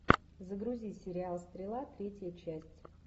загрузи сериал стрела третья часть